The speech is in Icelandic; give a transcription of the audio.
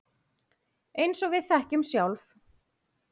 Eins og við þekkjum sjálf.